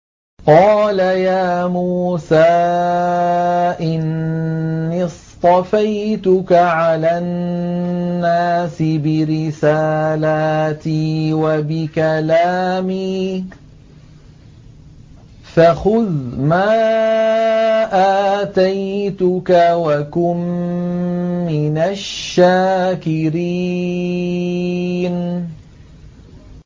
قَالَ يَا مُوسَىٰ إِنِّي اصْطَفَيْتُكَ عَلَى النَّاسِ بِرِسَالَاتِي وَبِكَلَامِي فَخُذْ مَا آتَيْتُكَ وَكُن مِّنَ الشَّاكِرِينَ